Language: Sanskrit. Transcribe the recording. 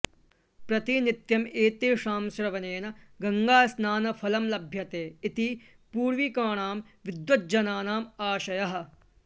प्रतिनित्यम् एतेषां श्रवणेन गङ्गास्नानफलं लभ्यते इति पूर्विकाणां विद्वत्तल्लजानाम् आशयः